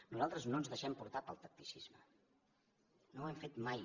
nosaltres no ens deixem portar pel tacticisme no ho hem fet mai